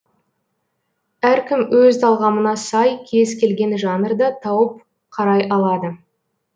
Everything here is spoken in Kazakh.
әркім өз талғамына сай кез келген жанрда тауып қарай алады